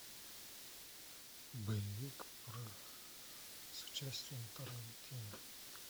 боевик про с участием тарантино